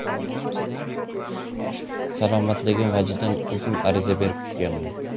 Salomatligim vajidan, o‘zim ariza berib ketganman.